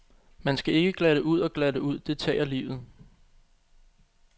Man skal ikke glatte ud og glatte ud, det tager livet.